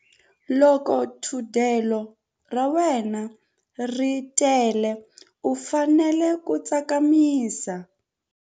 Loko thundelo ra wena ri tele u fanele ku tsakamisa.